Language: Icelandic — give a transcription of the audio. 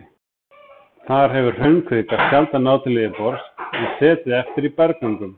Þar hefur hraunkvika sjaldan náð til yfirborðs en setið eftir í berggöngum.